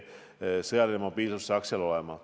Sõjaline mobiilsus peab seal arvestatud olema.